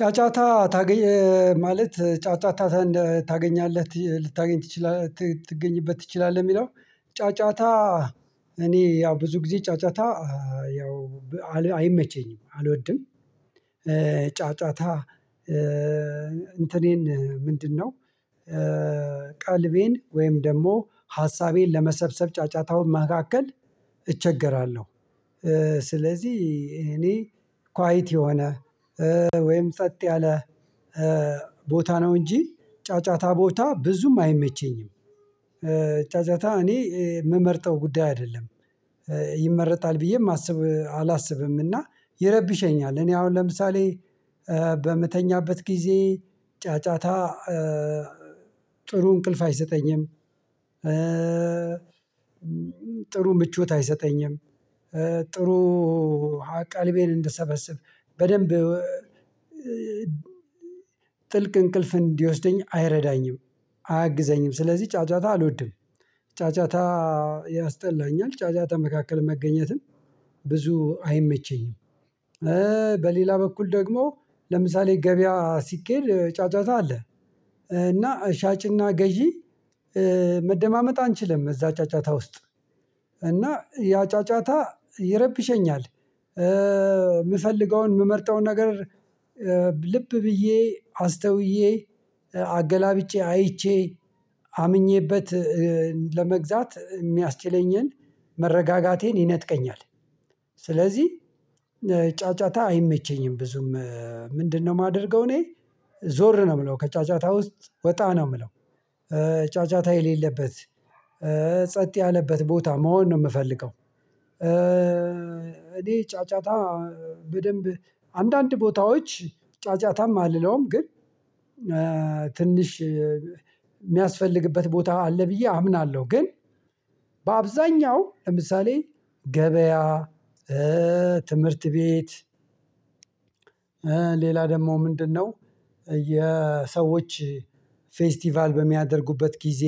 ጫጫታ ታገኝ ማለት ጫጫታ ታገኛለህ ልታገኝ ትችላለህ ትገኝበት ትችላለህ የሚለው። ጫጫታ እኔ ያው ብዙ ጊዜ ጫጫታ ያው አይመቸኝም አልወድም። ጫጫታ እንትኔን ምንድነው? ቀልቤን ወይም ደግሞ ሀሳቤን ለመሰብሰብ ጫጫታውን መካከል እቸገራለሁ። ስለዚህ እኔ ኳይት የሆነ ወይም ጸጥ ያለ ቦታ ነው እንጂ ጫጫታ ቦታ ብዙም አይመቸኝም። ጫጫታ እኔ ምመርጠው ጉዳይ አይደለም። ይመረጣል ብዬም አስብ አላስብምና ይረብሸኛል። እኔ አሁን ለምሳሌ በምተኛበት ጊዜ ጫጫታ ጥሩ እንቅልፍ አይሰጠኝም። ጥሩ ምቾት አይሰጠኝም። ጥሩ ቀልቤን እንደሰበሰብ በደንብ ጥልቅ እንቅልፍ እንዲወስደኝ አይረዳኝም አያግዘኝም። ስለዚህ ጫጫታ አልወድም ጫጫታ ያስጠላኛል ጫጫታ መካከል መገኘትን ብዙ አይመቸኝም። በሌላ በኩል ደግሞ ለምሳሌ ገበያ ሲኬድ ጫጫታ አለ። እና ሻጭና ገዢ መደማመጥ አንችልም እዛ ጫጫታ ውስጥ እና ያጫጫታ ይረብሸኛል። ምፈልገውን ምመርጠውን ነገር ልብ ብዬ አስተውዬ አገላብጫ አይቼ አምኜበት ለመግዛት ሚያስችለኝን መረጋጋቴን ይነጥቀኛል። ስለዚህ ጫጨጫታ አይመቸኝም። ብዙም ምንድነው? የማደርገው እኔ ዞር ነው ምለው ከጫጫታ ውስጥ ወጣ ነው ምለው። ጫጫታ የሌለበት ጸጥ ያለበት ቦታ መሆን ነው የምፈልገው። እኔ ጫጫታ በደንብ አንዳንድ ቦታዎች ጫጫታም አልለውም ግን ትንሽ ሚያስፈልግበት ቦታ አለ ብዬ አምናለሁ። ግን በአብዛኛው ለምሳሌ ገበያ ትምህርት ቤት ሌላ ደግሞ ምንድነው? የሰዎች ፌስቲቫል በሚያደርጉበት ጊዜ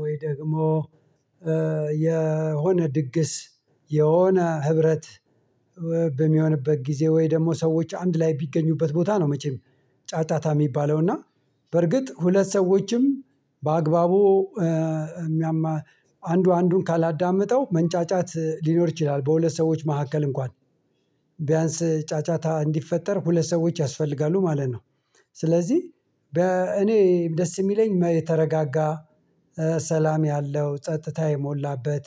ወይ ደግሞ የሆነ ድግስ የሆነ ህብረት በሚሆንበት ጊዜ ወይ ደግሞ ሰዎች አንድ ላይ ቢገኙበት ቦታ ነው መቼም ጫጣታ የሚባለው እና በርግጥ ሁለት ሰዎችም በአግባቡ ሚያማ አንዱ አንዱን ካላዳመጠው መንጫጫት ሊኖር ይችላል። በሁለት ሰዎች መሃከል እንኳን ቢያንስ ጫጫታ እንዲፈጠር ሁለት ሰዎች ያስፈልጋሉ ማለት ነው። ስለዚህ በእኔ ደስ የሚለኝ የተረጋጋ ሰላም ያለው ጸጥታ የሞላበት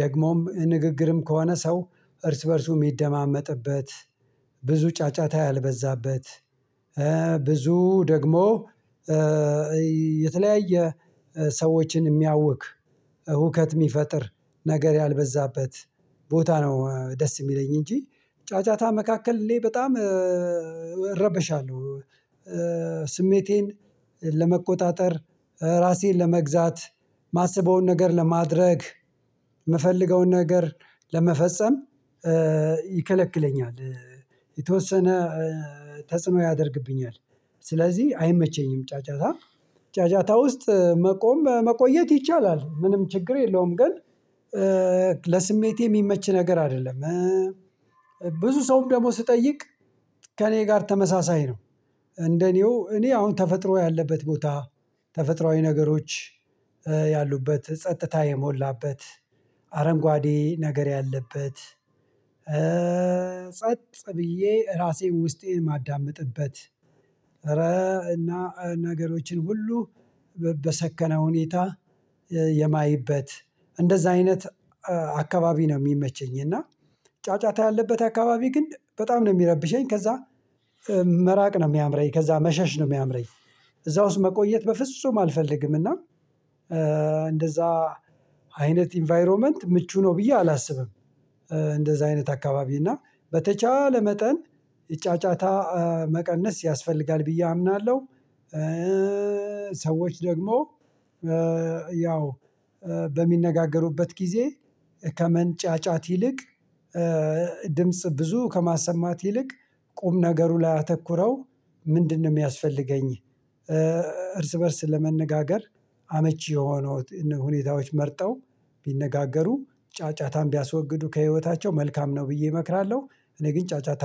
ደግሞም ንግግርም ከሆነ ሰው እርስ በእርሱ የሚደማመጥበት ብዙ ጫጫታ ያልበዛበት ብዙ ደግሞ የተለያየ ሰዎችን ሚያውክ ሁከት የሚፈጥር ነገር ያልበዛበት ቦታ ነው። ደስ ሚለኝ እንጂ ጫጫታ መካከል እኔ በጣም እረበሻለሁ። ስሜቴን ለመቆጣጠር ራሴን ለመግዛት ማስበውን ነገር ለማድረግ ምፈልገውን ነገር ለመፈጸም ይከለክለኛል። የተወሰነ ተጽዕኖ ያደርግብኛል ስለዚህ አይመቸኝም። ጫጫታ ጫጫታ ውስጥ መቆም መቆየት ይቻላል ምንም ችግር የለውም። ግን ለስሜቴ ሚመች ነገር አይደለም። ብዙ ሰውም ደግሞ ስጠይቅ ከእኔ ጋር ተመሳሳይ ነው። እንደኔው እኔ አሁን ተፈጥሮ ያለበት ቦታ ተፈጥሮአዊ ነገሮች ያሉበት ጸጥታ የሞላበት አረንጓዴ ነገር ያለበት ጸጥ ብዬየ ራሴን ውስጤን ማዳመጥበት እረ እና ነገሮችን ሁሉ በሰከነ ሁኔታ የማይበት እንደዛ አይነት አካባቢ ነው ሚመቸኝ። እና ጫጫታ ያለበት አካባቢ ግን በጣም ነው ሚረብሸኝ። ከዛ መራቅ ነው ሚያምረኝ። ከዛ መሸሽ ነው ሚያምረኝ። እዛ ውስጥ መቆየት በፍጹም አልፈልግም እና እንደዛ አይነት ኢንቫይሮመንት ምቹ ነው ብዬ አላስብም። እንደዛ አይነት አካባቢ እና በተቻለ መጠን ጫጫታ መቀነስ ያስፈልጋል ብዬ አምናለው። ሰዎች ደግሞ ያው በሚነጋገሩበት ጊዜ ከመንጫጫት ይልቅ ድምጽ ብዙ ከማሰማት ይልቅ ቁም ነገሩ ላይ አተኩረው ምንድነው የሚያስፈልገኝ? እርስ በእርስ ለመነጋገር አመቺ የሆነውት ሁኔታዎች መርጠው ቢነጋገሩ ጫጫታን ቢያስወግዱ ከህይወታቸው መልካም ነው ብዬ እመክራለሁ። እኔ ግን ጫጫታ